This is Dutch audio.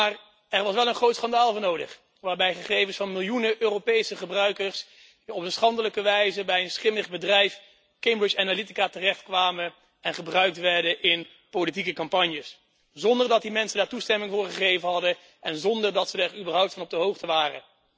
Maar er was wel een groot schandaal voor nodig waarbij gegevens van miljoenen Europese gebruikers op een schandelijke wijze bij een schimmig bedrijf, Cambridge Analytica, terechtkwamen en gebruikt werden in politieke campagnes, zonder dat die mensen daar toestemming voor gegeven hadden en zonder dat ze er überhaupt van op de hoogte waren.